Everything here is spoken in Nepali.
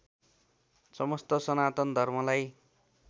समस्त सनातन धर्मलाई